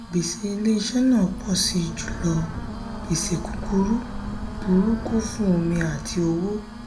gbèsè ilé-iṣẹ́ náà pọ̀ sí jùlọ gbèsè kúkúrú burúkú fún omi àti owó.